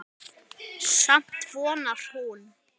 Samt vonar hún.